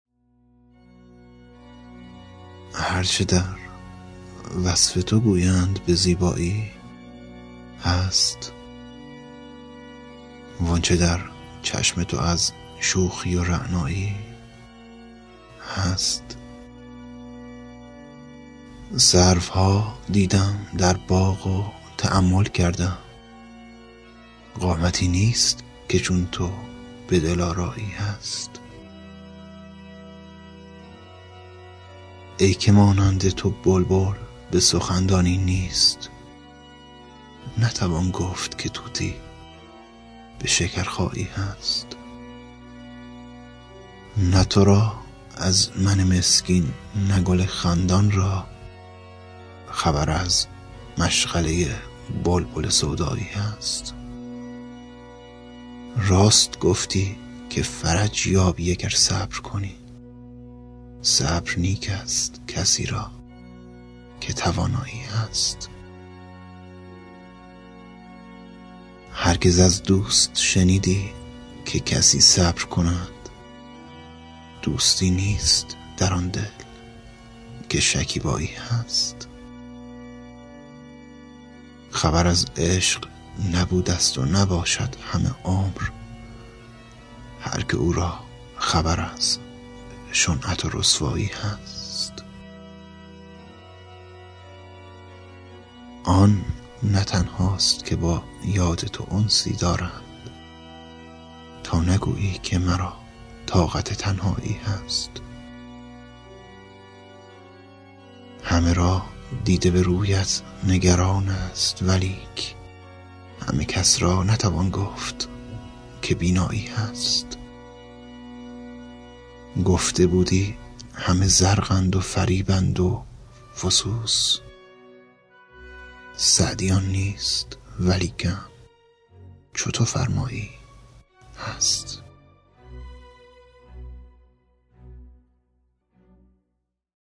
هر چه در روی تو گویند به زیبایی هست وان چه در چشم تو از شوخی و رعنایی هست سروها دیدم در باغ و تأمل کردم قامتی نیست که چون تو به دلآرایی هست ای که مانند تو بلبل به سخن دانی نیست نتوان گفت که طوطی به شکرخایی هست نه تو را از من مسکین نه گل خندان را خبر از مشغله بلبل سودایی هست راست گفتی که فرج یابی اگر صبر کنی صبر نیک ست کسی را که توانایی هست هرگز از دوست شنیدی که کسی بشکیبد دوستی نیست در آن دل که شکیبایی هست خبر از عشق نبودست و نباشد همه عمر هر که او را خبر از شنعت و رسوایی هست آن نه تنهاست که با یاد تو انسی دارد تا نگویی که مرا طاقت تنهایی هست همه را دیده به رویت نگران ست ولیک همه کس را نتوان گفت که بینایی هست گفته بودی همه زرقند و فریبند و فسوس سعدی آن نیست ولیکن چو تو فرمایی هست